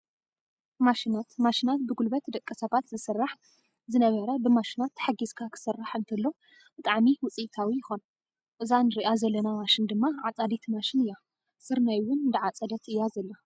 ማሽናት፦ ማሽናት ብጉልበት ደቂ-ሰባት ዝስራሕ ዝነበረ ብማሽናት ተሓጊዝካ ክስራሕ እንተሎ ብጣዕሚ ውፅኢታዊ ይከውን። እዛ እንረኣ ዘለና ማሽን ድማ ሓፃዲት ማሽን እያ ስርናይ እውን እንዳዓፀደት እያ ዘላ።